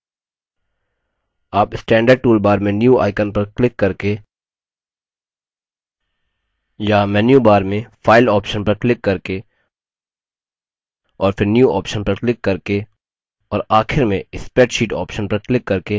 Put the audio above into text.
आप standard toolbar में new icon पर क्लिक करके या menu bar में file option पर क्लिक करके और फिर new option पर क्लिक करके और आखिर में spreadsheet option पर क्लिक करके नया document open कर सकते हैं